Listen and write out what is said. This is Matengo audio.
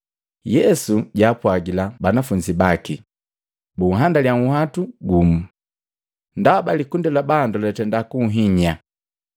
Yesu jaapwagila banafunzi baki bunhandalya nhwatu gumu, ndaba likundi lya bandu lyatenda kunhinya.